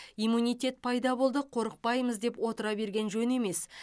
иммунитет пайда болды қорықпаймыз деп отыра берген жөн емес